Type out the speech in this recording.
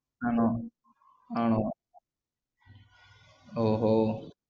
ആണോ ആണോ ഓ ഓ